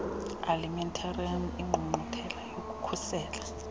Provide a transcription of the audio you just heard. alimentarius ingqungquthela yokukhusela